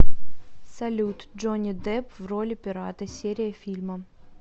салют джонни депп в роли пирата серия фильма